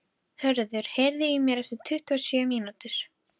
Höður, heyrðu í mér eftir tuttugu og sjö mínútur.